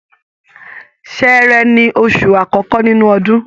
Ṣẹẹrẹ ni oṣù àkọ́kọ́ nínú ọdún.